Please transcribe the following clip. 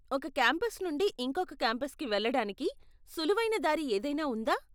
ఒక కాంపస్ నుండి ఇంకొక కాంపస్కి వెళ్ళడానికి సులువైన దారి ఏదైనా ఉందా?